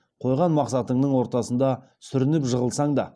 қойған мақсатыңның ортасында сүрініп жығылсаң да